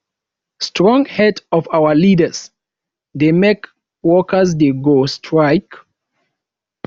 strong head of our leaders dey make workers dey go strike